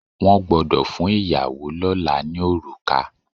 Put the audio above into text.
Wọ́n gbọ́dọ̀ fún ìyàwó lọ́là ní orùkà.